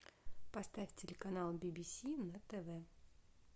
поставь телеканал би би си на тв